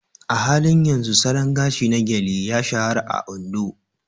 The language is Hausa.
A halin yanzu salon gashi na Gele ya shahara a Ondo.